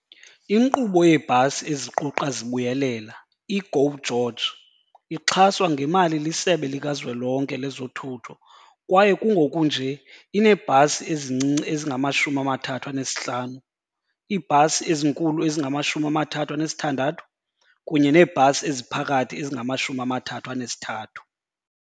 Inkqubo yeebhasi eziquqa zibuyelela, i-GO GEORGE, ixhaswa ngemali liSebe lika Zwelonke lezoThutho kwaye kungoku nje ineebhasi ezincinci ezingama-35, iibhasi ezinkulu ezingama-36 kunye neebhasi eziphakathi ezingama-33.